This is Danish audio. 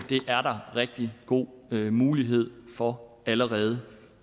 er rigtig god mulighed for allerede